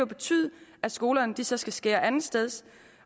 betyde at skolerne så skal skære et andet sted